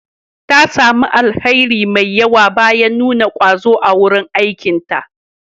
Ta sami alheri mai yawa bayan nuna ƙwazo a wurin aikinta.